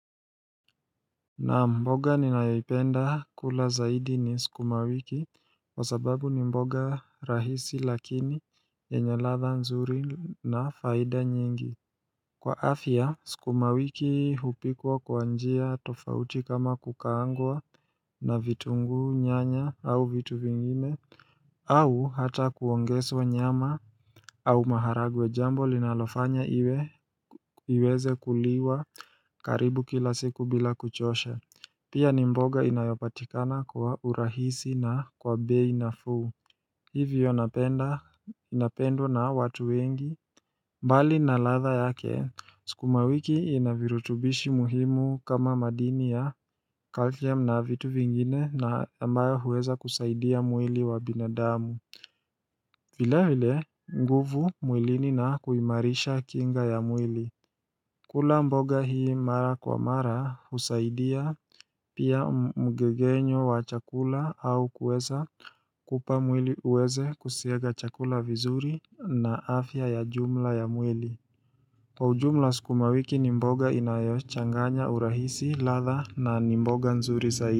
Naam mboga ninayopenda kula zaidi ni sukumawiki kwa sababu ni mboga rahisi lakini yenye latha nzuri na faida nyingi Kwa afya sukumawiki hupikwa kwa njia tofauti kama kukaangwa na vitungu nyanya au vitu vingine au hata kuwangeswa nyama au maharagwe jambo linalofanya iweze kuliwa karibu kila siku bila kuchosha Pia ni mboga inayopatikana kwa urahisi na kwa bei nafuu Hivyo napenda inapendwa na watu wengi mbali na latha yake, sukuma wiki inavirutubishi muhimu kama madini ya kalkiam na vitu vingine na ambayo huweza kusaidia mwili wa binadamu vile vile, nguvu mwilini na kuimarisha kinga ya mwili kula mboga hii mara kwa mara husaidia pia mgegenyo wa chakula au kweza kupamwili uweze kusiaga chakula vizuri na afya ya jumla ya mwili Kwa ujumla skumawiki nimboga inayochanganya urahisi latha na nimboga nzuri zaidi.